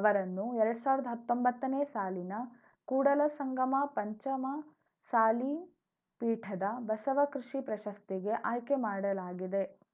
ಅವರನ್ನು ಎರಡ್ ಸಾವಿರ್ದ ಹತ್ತೊಂಬತ್ತನೇ ಸಾಲಿನ ಕೂಡಲಸಂಗಮ ಪಂಚಮಸಾಲಿ ಪೀಠದ ಬಸವ ಕೃಷಿ ಪ್ರಶಸ್ತಿಗೆ ಆಯ್ಕೆ ಮಾಡಲಾಗಿದೆ